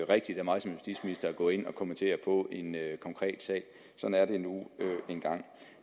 rigtigt af mig som justitsminister at gå ind og kommentere på en konkret sag sådan er det nu engang